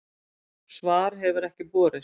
Svar hefur ekki borist